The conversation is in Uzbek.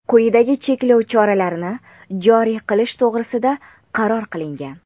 quyidagi cheklov choralarini joriy qilish to‘g‘risida qaror qilingan:.